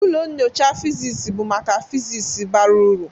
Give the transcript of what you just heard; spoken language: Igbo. Ụlọ nyocha physics bụ maka physics bara uru.